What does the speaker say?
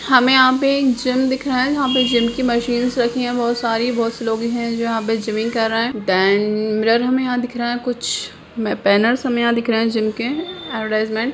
हमें यहां पे एक जिम दिख रहा है यहाँ पर जिम की मशीन्स रखी है बहुत सारी बहुत से लोग है जो यहां पे जिमिम्ग कर रहे है देन मिरर हमे यहां दिख रहा है कुछ बैनरस हमे यहाँ दिख रहे है जिम के एडवरटाइजमेंट--